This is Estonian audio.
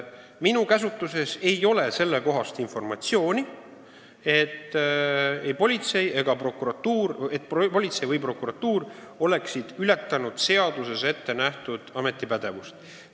Minu käsutuses ei ole informatsiooni, et politsei või prokuratuur oleks ületanud seaduses ette nähtud ametipädevust.